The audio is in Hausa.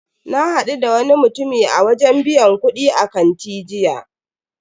Na hadu da wani mutumi a wajen biyan kudi a kanti jiya.